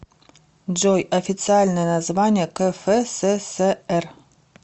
джой официальное название кфсср